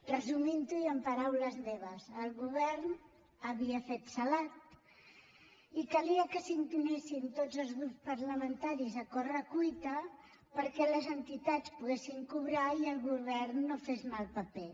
resumintho i amb paraules meves el govern havia fet salat i calia que s’intimessin tots els grups parlamentaris a correcuita perquè les entitats poguessin cobrar i el govern no fes mal paper